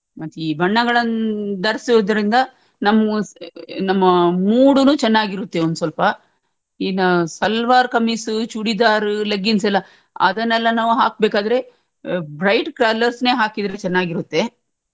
ಮತ್ತೆ ಈ ಬಣ್ಣಗಳನ್ ಧರಿಸುದ್ರಿಂದ ನಮ್ಮ್ ಮು ನಮ್ಮಾ mood ಡೂನು ಚೆನ್ನಾಗಿರುತ್ತೆ ಒಂದ್ ಸ್ವಲ್ಪ ಇನ್ನಾ ಸಲ್ವಾರ್ ಕಾಮಿಸ್ ಚೂಡಿದಾರ್ leggings ಎಲ್ಲಾ ಅದ್ದನ್ನೆಲ್ಲಾ ನಾವು ಹಾಕ್ಬೇಕಾದ್ರೆ bright colours ಅನ್ನೇ ಹಾಕಿದ್ರೆ ಚನ್ನಾಗಿರುತ್ತೆ.